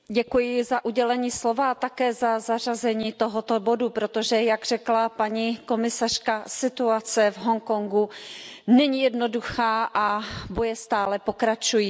Paní předsedající, děkuji za udělení slova a také za zařazení tohoto bodu, protože jak řekla paní komisařka, situace v Hongkongu není jednoduchá a boje stále pokračují.